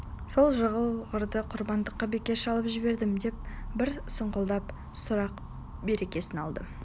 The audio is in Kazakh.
сол жығылғырды құрбандыққа бекер шалып жібердім бе деп бір сұңқылдақ сұрақ берекесін алды